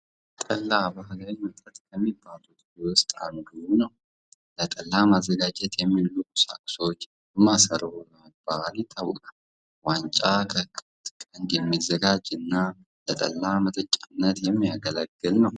ጠላ ባህላዊ መጠጥ ከሚባሉት ወስጥ አንዱ። ለጠላ ማዘጋጃነት የሚውሉ ቁሳቁሶች ማሰሮ በመባል ይታወቃሉ። ዋንጫ ከከብት ቀንድ የሚዘጋጅ እና ለጠላ መጠጫነት የሚያገለግል ነው።